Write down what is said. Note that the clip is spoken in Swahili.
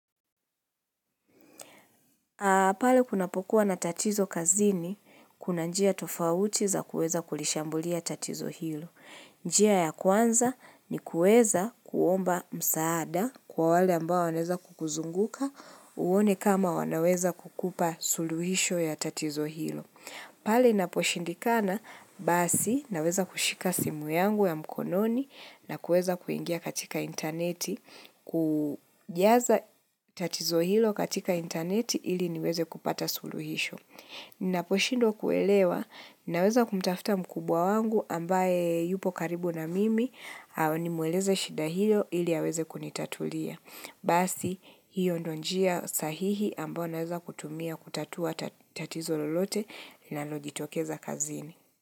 Pale kunapokuwa na tatizo kazini, kuna njia tofauti za kuweza kulishambulia tatizo hilo. Njia ya kwanza ni kuweza kuomba msaada kwa wale ambao wanaweza kukuzunguka uone kama wanaweza kukupa suluhisho ya tatizo hilo. Pale inaposhindikana, basi naweza kushika simu yangu ya mkononi na kuweza kuingia katika intaneti. Kujaza tatizo hilo katika intaneti ili niweze kupata suluhisho Ninaposhindwa kuelewa, naweza kumtafuta mkubwa wangu ambaye yupo karibu na mimi nimueleze shida hiyo ili aweze kunitatulia Basi, hiyo ndo njia sahihi ambayo naweza kutumia kutatua tatizo lolote nalojitokeza kazini.